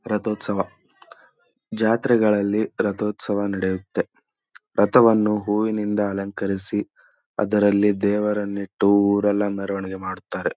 ರಥೋತ್ಸವ ಜಾತ್ರೆಗಳಲ್ಲಿ ರಥೋತ್ಸವ ನಡೆಯುತ್ತೆ. ರಥವನ್ನು ಹೂವಿನಿಂದ ಅಲಂಕರಿಸಿ ಅದರಲ್ಲಿ ದೇವರನ್ನು ಇಟ್ಟು ಊರೆಲ್ಲಾ ಮೆರವಣಿಗೆ ಮಾಡುತ್ತಾರೆ.